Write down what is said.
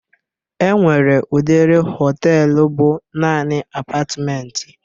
E nwere udiri họtelu bụ naanị apatmenti